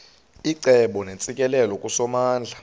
icebo neentsikelelo kusomandla